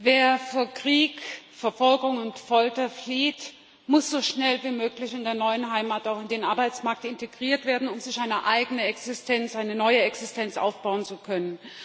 Wer vor Krieg, Verfolgung und Folter flieht, muss so schnell wie möglich in der neuen Heimat auch in den Arbeitsmarkt integriert werden, um sich eine eigene Existenz, eine neue Existenz aufbauen zu können.